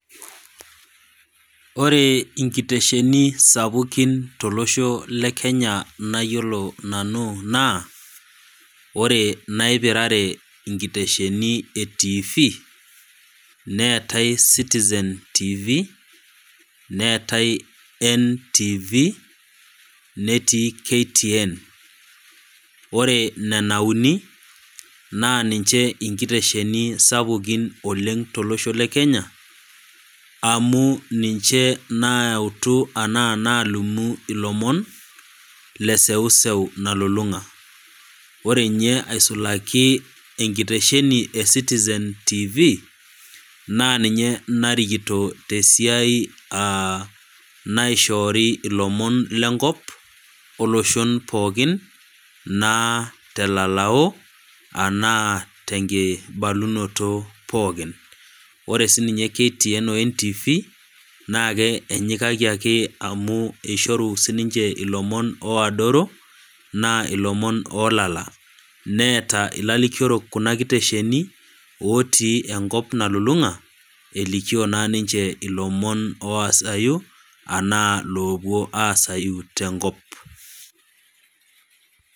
Ore inkitesheni sapukin tolosho le kenya nayiolo nanu naa, ore inaipirare inkitesheni e tiifi, neatai Citizen Tv, NTV, netii KTN, ore nena uni, naa ninche inkitesheni sapukiin oleng' tolosho le Kenya, amu ninche naalimu anaa ninchee naalimu ilomon, le eseuseu nalulung'a. Ore ninye aisulaki enkitesheni e Citizen Tv, naa ninye narikito te esiai naishoori ilomon lenkop, oloshon pookin, naa telalau, anaa tenkibalunoto pookin. Ore siininye KTN o NTV, naake enyikaki ake amu eishoru, sininche ilomon oadoro, naa ilomon oolala, neata ilarikiorok kuna kitesheni otii enkop nalulung'a, elikio naa ninche ilomon, oasayu anaa loopuo aasayu te enkop.